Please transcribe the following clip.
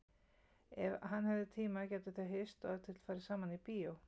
Ef hann hefði tíma gætu þau hist og ef til vill farið saman í bíó.